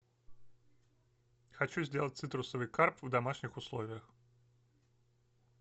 хочу сделать цитрусовый карп в домашних условиях